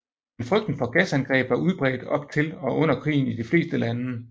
Men frygten for gasangreb var udbredt op til og under krigen i de fleste lande